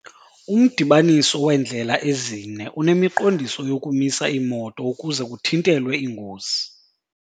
Umdibaniso weendlela ezine unemiqondiso yokumisa iimoto ukuze kuthintelwe iingozi.